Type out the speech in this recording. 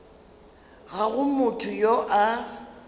ga go motho yo a